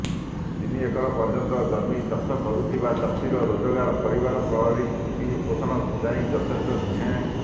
ତିନି ଏକର ପର୍ଯ୍ୟନ୍ତ ଜମି ଚାଷ କରୁଥିବା ଚାଷୀର ରୋଜଗାର ପରିବାର ପ୍ରତିପୋଷଣ ପାଇଁ ଯଥେଷ୍ଟ ନୁହେଁ